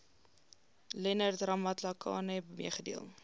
leonard ramatlakane meegedeel